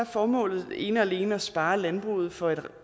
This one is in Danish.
formålet ene og alene at spare landbruget for en